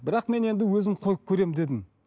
бірақ мен енді өзім қойып көремін дедім